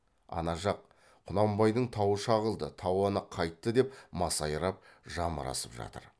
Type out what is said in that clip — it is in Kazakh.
ана жақ құнанбайдың тауы шағылды тауаны қайтты деп масайрап жамырасып жатыр